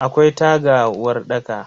Akwai taga a uwarɗaka.